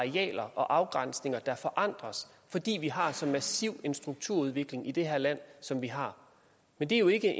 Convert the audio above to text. er arealer og afgrænsninger der forandres fordi vi har så massiv en strukturudvikling i det her land som vi har men det er jo ikke